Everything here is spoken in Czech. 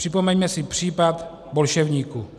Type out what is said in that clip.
Připomeňme si případ bolševníku."